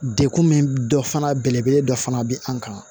Dekun min dɔ fana belebele dɔ fana bɛ an kan